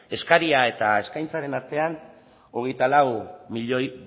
eskaria eta eskaintzaren artean hogeita lau milioi